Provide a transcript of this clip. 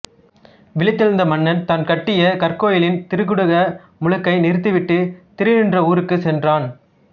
விழித்தெழுந்த மன்னன் தான் கட்டிய கற்கோயிலின் திருக்குட முழுக்கை நிறுத்திவிட்டு திருநின்றவூருக்குச் சென்றான்